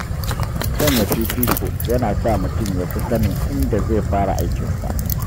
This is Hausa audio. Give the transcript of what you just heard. Sanya fifiko yana sa mutum ya fi sanin inda zai fara aikin sa.